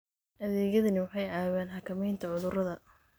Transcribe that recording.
Adeegyadani waxay caawiyaan xakamaynta cudurrada.